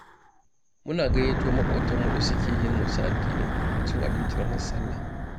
Muna gayyato maƙotanmu da suke yin wasu addinai cin abinci a ranar Sallah.